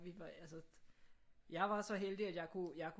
Vi var altså jeg var så heldig at jeg kunne jeg kunne